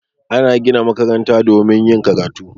Ana gina makaranta domin yin karatu